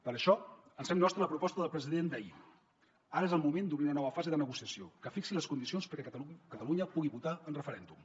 per això ens fem nostra la proposta del president d’ahir ara és el moment d’obrir una nova fase de negociació que fixi les condicions perquè catalunya pugui votar en referèndum